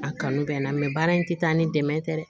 A kanu bɛ n na mɛ baara in tɛ taa ni dɛmɛ tɛ dɛ